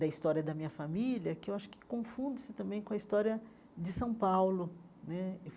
da história da minha família, que eu acho que confunde-se também com a história de São Paulo né.